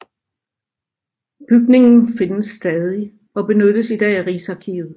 Bygningen findes stadig og benyttes i dag af Rigsarkivet